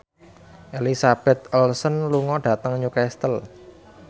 Elizabeth Olsen lunga dhateng Newcastle